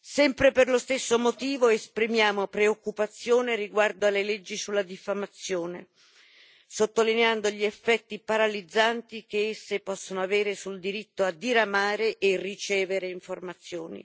Sempre per lo stesso motivo, esprimiamo preoccupazione riguardo alle leggi sulla diffamazione, sottolineando gli effetti paralizzanti che esse possono avere sul diritto a diramare e ricevere informazioni.